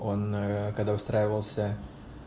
он когда устраивался